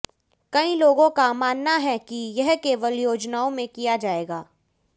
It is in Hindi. कई लोगों का मानना है कि यह केवल योजनाओं में किया जाएगा